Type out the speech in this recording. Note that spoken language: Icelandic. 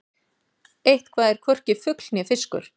Eitthvað er hvorki fugl né fiskur